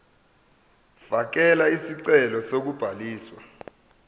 fakela isicelo sokubhaliswa